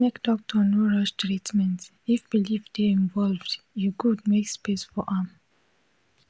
make doctor no rush treatment if belief dey involved e good make space for am